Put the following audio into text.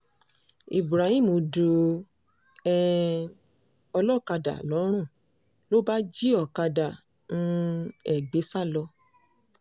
ibrahim du um ọlọ́kadà lọ́rùn ló bá jí ọ̀kadà um ẹ̀ gbé sá lọ